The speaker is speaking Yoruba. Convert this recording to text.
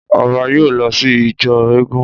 Ọba yóò lọ sí ijó eégún